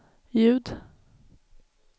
ljud